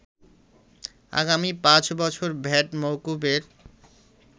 আগামী ৫ বছর ভ্যাট মওকুফের